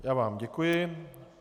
Já vám děkuji.